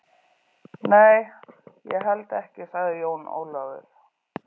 Nei, ég held ekki, sagði Jón Ólafur.